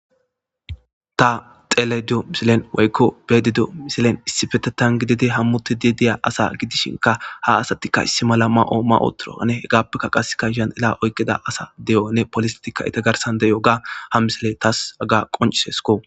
ta xeledo misilen waykko beedido misilen issifete tan gidide hammuti di deya asa gidishinka ha asatikka issi mala ma7oo ma ootoroane hegaappeka qaseka shandela oykkida asa deyone polistika eta garsan deyoga ha misele taas aga qoncisesko